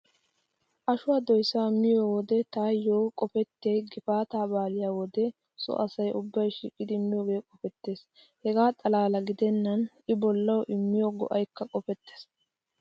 Ashuwaa doysaa be'iyo wode taayyo qopettiyay gifaataa baalaa wode so asay ubbay shiiqidi miyoogee qopettees. Hegaa xalla gidennan I bollaayyo immiyo go'aykka qopettees.